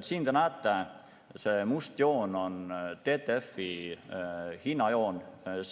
Siin joonisel te näete, see must joon on TTF-i hinnajoon